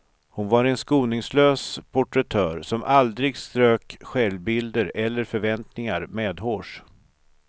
Hon var en skoningslös porträttör som aldrig strök självbilder eller förväntningar medhårs.